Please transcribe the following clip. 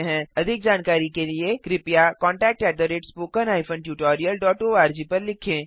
अधिक जानकारी के लिए कृपया कॉन्टैक्ट spoken tutorialorg पर लिखें